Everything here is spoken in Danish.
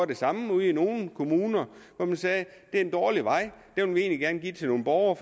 det samme ude i nogle kommuner man sagde det er en dårlig vej og egentlig gerne give til nogle borgere